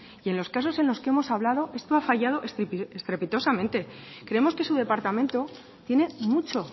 y en los casos en los que hemos hablado esto ha fallado estrepitosamente creemos que su departamento tiene mucho